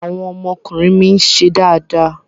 Àwọn ọmọkùnrin mi ń ṣe dáadáa.